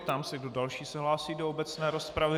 Ptám se, kdo další se hlásí do obecné rozpravy.